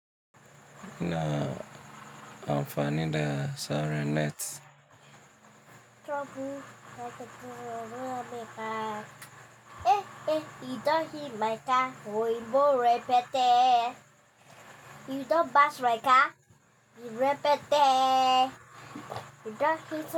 Na amfani da siren net.